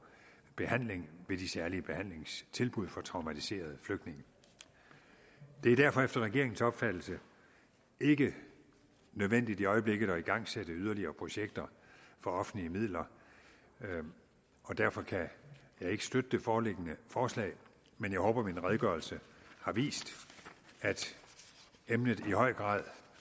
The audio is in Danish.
behandling ved de særlige behandlingstilbud for traumatiserede flygtninge det er derfor efter regeringens opfattelse ikke nødvendigt i øjeblikket at igangsætte yderligere projekter for offentlige midler og derfor kan jeg ikke støtte det foreliggende forslag men jeg håber min redegørelse har vist at emnet i høj grad